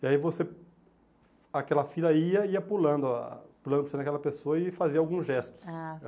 E aí você, aquela filha ia, ia pulando, ó, pulando para você naquela pessoa e fazia alguns gestos. Ah